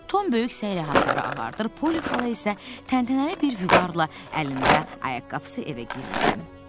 Tom böyük səylə hasarı ağartdır, Poli xala isə təntənəli bir vüqarla əlində ayaqqabısı evə girirdi.